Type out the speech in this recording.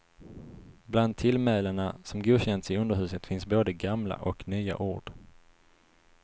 Bland tillmälena som godkänts i underhuset finns både gamla och nya ord.